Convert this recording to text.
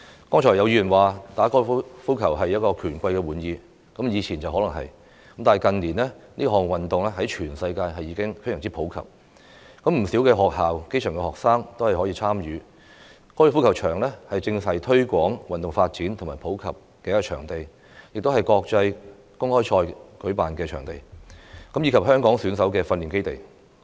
剛才有議員說，打高爾夫球是權貴的玩意，以前可能是，但近年這項運動在全世界已經非常普及，不少學校、基層學生也可以參與，高爾夫球場正是推廣運動發展與普及的場地，亦是舉辦國際公開賽的場地，以及香港選手的訓練基地。